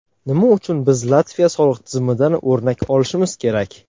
Nima uchun biz Latviya soliq tizimidan o‘rnak olishimiz kerak?